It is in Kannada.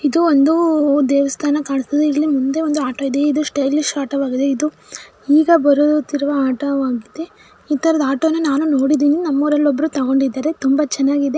ಇದು ಒಂದು ದೇವಸ್ಥಾನ ಕಾಣಸ್ತಿದೆ ಇಲ್ಲಿ ಮುಂದೆ ಒಂದು ಆಟೋ ಇದೆ ಇದು ಸ್ಟೈಲಿಶ್ ಆಟೋ ಆಗಿದೆ ಇದು ಈಗ ಬರುತ್ತಿರುವ ಆಟೋವಾಗಿದೆ ಇತರ ಆಟೋನ ನಾನು ನೋಡಿದ್ದೀನಿ ನಮ್ಮ ಊರಲ್ಲಿ ಒಬ್ರು ತೊಕೊಂಡಿದರೆ ತುಂಬಾ ಚನ್ನಾಗಿದೆ --